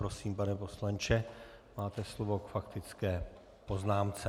Prosím, pane poslanče, máte slovo k faktické poznámce.